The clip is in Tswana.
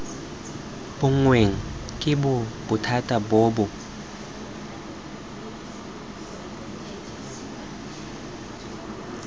bonweng ke bothati bo bo